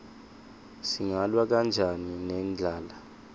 singalwa kanjani nendlala